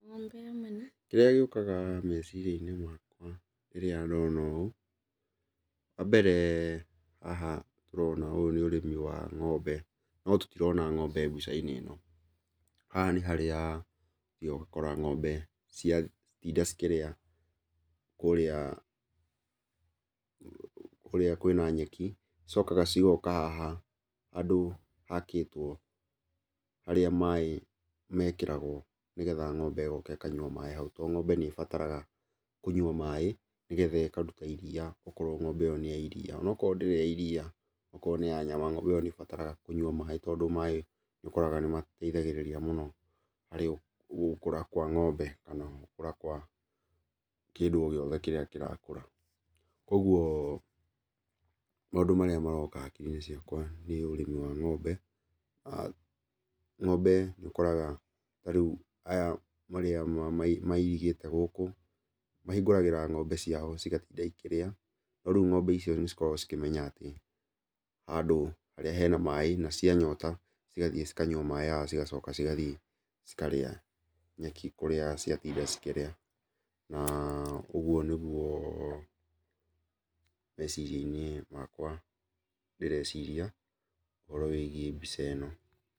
Kĩrĩa gĩũkaga meciria-inĩ makwa rĩrĩa ndona ũũ, wambere haha tũrona ũyũ nĩ ũrĩmi wa ng'ombe, no tũtirona ng'ombe mbica-inĩ ĩno. Haha nĩ harĩa ũthiaga ũgakora ng'ombe ciatinda cikĩrĩa kũrĩa kũrĩa kwĩna nyeki, cicokaga cigoka haha handũ hakĩtwo harĩa maĩ mekĩragwo nĩgetha ng'ombe ĩgoka ĩkanyua maĩ hau, tondũ ng'ombe nĩĩbataraga kũnyua maĩ nĩgetha ĩkaruta iria okorwo ng'ombe ĩyo nĩ ya iria. Onokorwo ndĩrĩ ya iria, okorwo nĩ ya nyama, ng'ombe ĩyo nĩĩbataraga kũnyua maĩ tondũ maĩ nĩũkoraga nĩmateithagĩrĩria mũno harĩ gũkũra kwa ng'ombe ona gũkũra kwa kĩndũ o gĩothe kĩrĩa kĩrakũra. Kuoguo maũndũ marĩa maroka hakiri-inĩ ciakwa nĩ ũrĩmi wa ng'ombe. Ng'ombe nĩũkoraga ta rĩu aya arĩa mairigĩte gũkũ, mahingũragĩra ng'ombe ciao cigatinda ikĩrĩa, no rĩu ng'ombe icio nĩcikoragwo cikĩmenya atĩ handũ harĩa hena maĩ na cianyota cigathiĩ cikanyua maĩ haha cigacoka cigathiĩ cikarĩa nyeki kũrĩa ciatinda cikĩrĩa, na ũguo nĩguo meciria-inĩ makwa ndĩreciria ũhoro wĩgiĩ mbica ĩno.